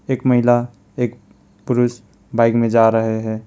एक महिला एक पुरुष बाइक में जा रहे है।